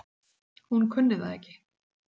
Hún kunni það ekki.